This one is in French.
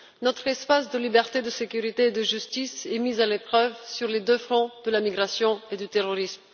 Notre espace de liberté, de sécurité et de justice est mis à l'épreuve sur les deux fronts de la migration et du terrorisme.